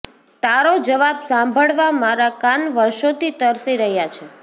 તારો જવાબ સાંભળવા મારા કાન વર્ષોથી તરસી રહ્યા છે